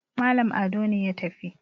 Malam Ado ne ya tafi